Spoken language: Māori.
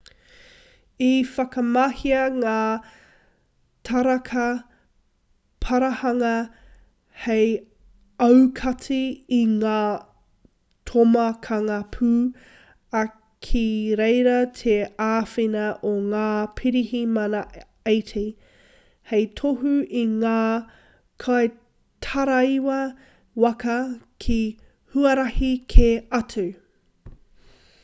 i whakamahia ngā taraka parahanga hei aukati i ngā tomokanga pū ā ki reira te āwhina o ngā pirihimana 80 hei tohu i ngā kaitaraiwa waka ki huarahi kē atu